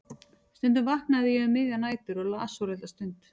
Stundum vaknaði ég um miðjar nætur og las svo litla stund.